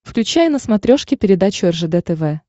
включай на смотрешке передачу ржд тв